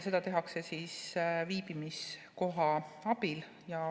Seda tehakse siis viibimiskoha abil.